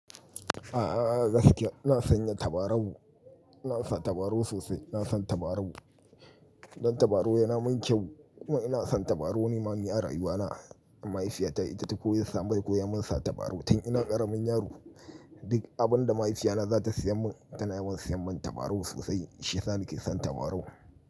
A'a, gaskiya ina sanya tabarau. Ina sa tabarau sosai. Ina son tabarau. Dan tabarau yana min kyau kuma ina son tabarau. Ni ma ni a rayuwa na, mahaifiyata ita ta koyi sa mani koyon min sa tabarau. Tun ina ƙaramin yaro duk abin da mahaifiyata za ta siya min tana yawan siya min tabarau sosai. Shiya sa na ke son tabarau.